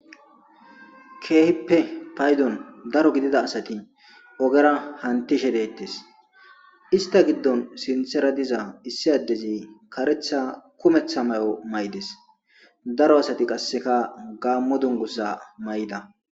keehippe paydon daro gidida asati ogera hantishe deettes ista giddon sinthera diza issi addezi karetha kumetha may7o may7des daro asati qasseka gaammo dungusa may7da